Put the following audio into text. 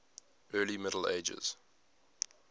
early middle ages